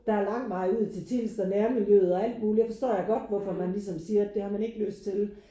Der er lang vej ud til Tilst og nærmiljøet og alt mulig der forstår jeg godt hvorfor man ligesom siger at det har man ikke lyst til